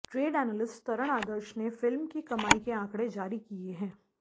trade analyst Taran Adarsh ने film की कमाई के आंकड़े जारी किए हैं